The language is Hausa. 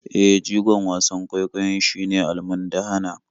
E, jigon wasan kwaikwayon shine almundahana.